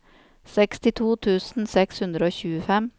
sekstito tusen seks hundre og tjuefem